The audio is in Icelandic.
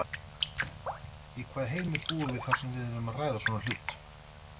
Í hvaða heimi búum við þar sem við erum að ræða svona hlut?